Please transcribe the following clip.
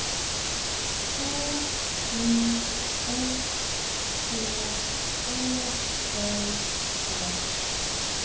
H U S H Å L L